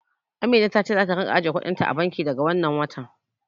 Amina ta ce zata ringa ajiye kuɗin ta a banki daga wannan watan.